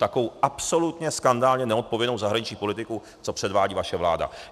Takovou absolutně skandálně neodpovědnou zahraniční politiku, co předvádí vaše vláda.